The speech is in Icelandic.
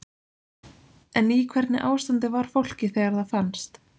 En í hvernig ástandi var fólkið þegar það fannst?